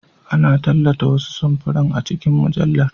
Ana tallata wasu samfuran a cikin mujallar.